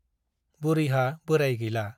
बुरैहा बोराय गैला ।